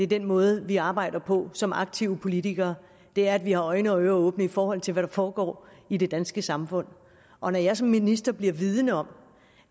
den måde vi arbejder på som aktive politikere er at vi har øjne og ører åbne i forhold til hvad der foregår i det danske samfund og når jeg som minister bliver vidende om